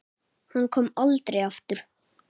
Hann kom aldrei aftur.